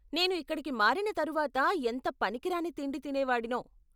నేను ఇక్కడికి మారిన తరువాత ఎంత పనికిరాని తిండి తినేవాడినో.